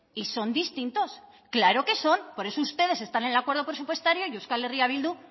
y son distintos claro que son por eso ustedes están en el acuerdo presupuestario y euskal herria bildu